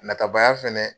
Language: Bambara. Natabaya fɛnɛ